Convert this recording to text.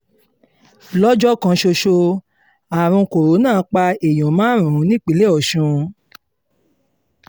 lọ́jọ́ kan ṣoṣo àrùn corona pa èèyàn márùn-ún nípínlẹ̀ ọ̀sùn